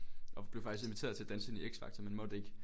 Og blev faktisk inviteret til at danse inde i X Factor en måtte ikke